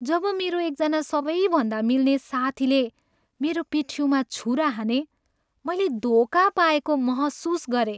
जब मेरा एकजना सबैभन्दा मिल्ने साथीले मेरो पिठ्युँमा छुरा हाने, मैले धोका पाएको महसुस गरेँ।